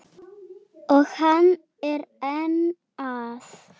Og hann er enn að.